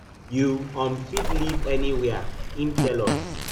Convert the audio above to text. you um fit live anywia im tell us